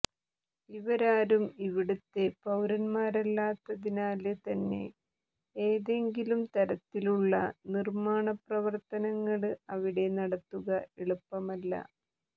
ഇവരാരും ഇവിടുത്തെ പൌരന്മാരല്ലാത്തതിനാല് തന്നെ ഏതെങ്കിലും തരത്തിലുള്ള നിര്മ്മാണ പ്രവര്ത്തനങ്ങള് അവിടെ നടത്തുക എളുപ്പമല്ല